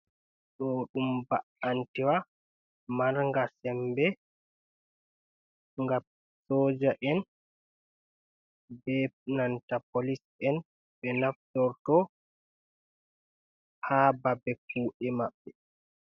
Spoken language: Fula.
Ɗo ɗum ba’antewa marga sembe nga soja en be nanta polis en ɓe naftorto ha babe kuɗe maɓɓe.